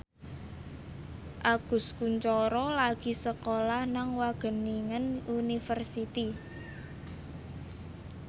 Agus Kuncoro lagi sekolah nang Wageningen University